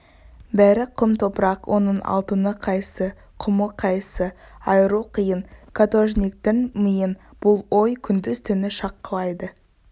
бәрі құм топырақ оның алтыны қайсы құмы қайсы айыру қиын каторжниктің миын бұл ой күндіз-түні шаққылайды